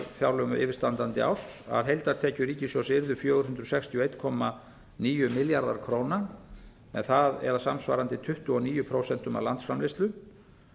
fjárlögum yfirstandandi árs að heildartekjur ríkissjóðs yrðu fjögur hundruð sextíu og einn komma níu milljarðar króna samsvarandi tuttugu og níu prósent af landsframleiðslu